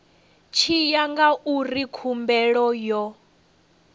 tshi ya ngauri khumbelo yo